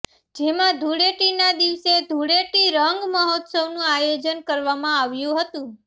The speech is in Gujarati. જેમાં ધૂળેટી ના દિવસે ધૂળેટી રંગ મહોત્સવ નું આયોજન કરવામાં આવ્યું હતું